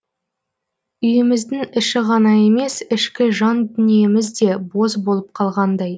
үйіміздің іші ғана емес ішкі жан дүниеміз де бос болып қалғандай